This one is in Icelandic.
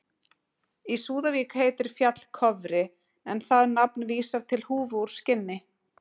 í súðavík heitir fjall kofri en það nafn vísar til húfu úr skinni